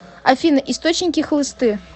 афина источники хлысты